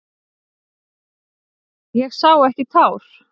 Ég sá ekki tár.